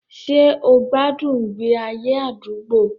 Ṣé o gbádùn ìgbé ayé àdúgbò?